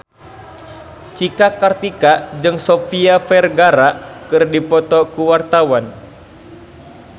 Cika Kartika jeung Sofia Vergara keur dipoto ku wartawan